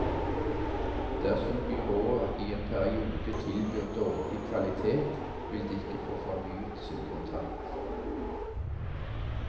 Dersom byrået i en periode tilbyr dårlig kvalitet, vil det ikke få fornyet sin kontrakt.